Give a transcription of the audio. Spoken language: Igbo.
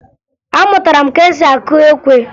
Amụtara m ka esi akụ ekwe